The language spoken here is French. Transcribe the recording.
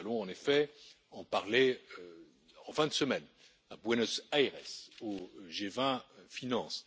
Nous allons en effet en parler en fin de semaine à Buenos Aires au G20 Finances.